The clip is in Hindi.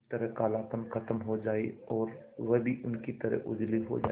किसी तरह कालापन खत्म हो जाए और वह भी उनकी तरह उजली हो जाय